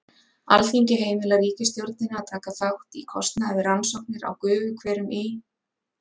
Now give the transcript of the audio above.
Alþingi heimilar ríkisstjórninni að taka þátt í kostnaði við rannsóknir á gufuhverum í